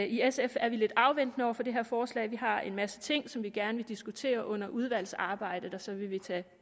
i sf er lidt afventende over for det her forslag vi har en masse ting som vi gerne vil diskutere under udvalgsarbejdet og så vil vi tage